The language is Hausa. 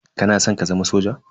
Kana san ka zama soja?